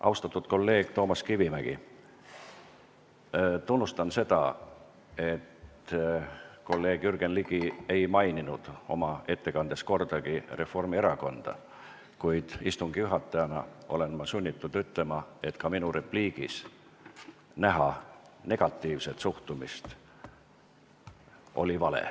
Austatud kolleeg Toomas Kivimägi, tunnustan seda, et kolleeg Jürgen Ligi ei maininud oma ettekandes kordagi Reformierakonda, kuid istungi juhatajana olen sunnitud ütlema, et oli vale näha minu repliigis negatiivset suhtumist.